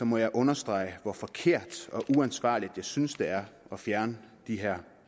må jeg understrege hvor forkert og uansvarligt jeg synes det er at fjerne de her